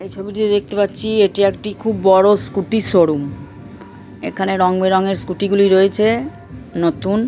এই ছবিটিতে দেখতে পাচ্ছি এটি একটি খুব বড়ো স্কুটির শোরুম এখানে রংবেরঙের স্কুটি -গুলি রয়েছে নতুন--